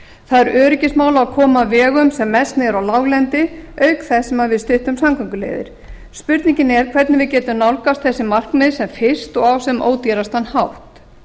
það er öryggismál að koma vegum sem mest niður á láglendi auk þess sem við styttum samgönguleiðir spurningin er hvernig við getum nálgast þessi markmið sem fyrst og á sem ódýrastan hátt